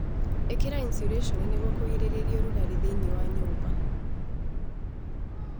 Ĩkĩra iniciurĩconi nĩguo kũgirĩrĩria ũrugarĩ thĩinĩ wa nyũmba.